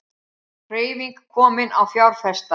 Hreyfing komin á fjárfesta